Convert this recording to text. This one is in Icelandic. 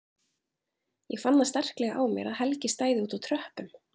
Ég fann það sterklega á mér að Helgi stæði úti á tröppum!